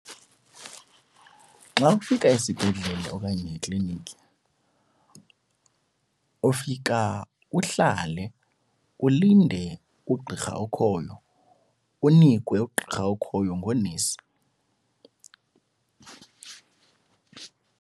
Xa ufika esibhedlele okanye ekliniki ufika uhlale ulinde ugqirha okhoyo, unikwe ugqirha okhoyo ngoonesi.